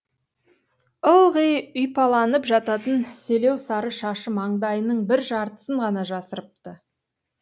ылғи үйпаланып жататын селеу сары шашы маңдайының бір жартысын ғана жасырыпты